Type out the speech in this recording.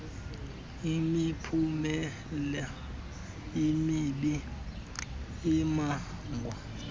imiphumela emibi ebangwa